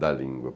da língua.